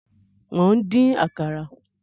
Mò ń dín Àkàrà